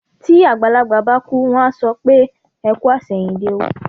Tí àgbàlagbà bá kú, wọ́n á sọ pé "ẹ kú àṣẹ̀yìndé o".